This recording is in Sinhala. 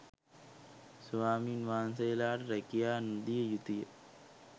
ස්වාමීන් වහන්සේලට රෑකියා නොදිය යුතුය